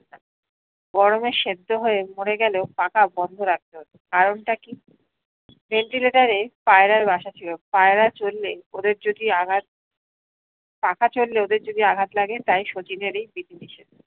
গরমে সেদ্ধ হয়ে মরে গেলেও পাখা বন্ধ রাখতে হত কারণ টা কি ventilator এ পায়রার বাস ছিলো পয়রার জন্যে ওদের যদি আঘত পাখা চললে ওদের যদি আঘাত লাগে তাই শচীনেরি বিদ্ধি নিষেধ